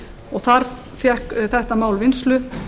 og þar fékk þetta mál vinnslu